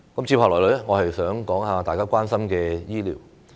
接下來我想談談大家關心的醫療。